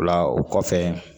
O la o kɔfɛ